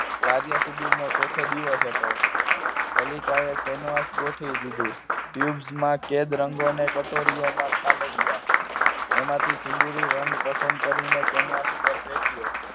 કાર્ય સિદ્ધિ નો ચોથો દિવસ હતો કલિકા એ કેનવાસ ગોઠવી દીધું ટ્યુબ માં કેદ રંગો ને કટોરી મા ઠાલવ્યા એમાંથી સિંદુરી રંગ પસંદ કરીને કેનવાસ પર ફેક્યો